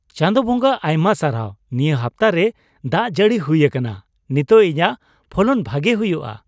ᱪᱟᱸᱫᱚ ᱵᱚᱸᱜᱟ ᱟᱭᱢᱟ ᱥᱟᱨᱦᱟᱣ ᱱᱤᱭᱟᱹ ᱦᱟᱯᱛᱟ ᱨᱮ ᱫᱟᱜ ᱡᱟᱹᱲᱤ ᱦᱩᱭ ᱟᱠᱟᱱᱟ ᱾ ᱱᱤᱛᱚᱜ ᱤᱧᱟᱜ ᱯᱷᱚᱞᱚᱱ ᱵᱷᱟᱜᱮ ᱦᱩᱭᱩᱜᱼᱟ ᱾